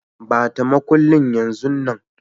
Ba ta makullin yanzun nan.